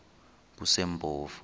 kusempofu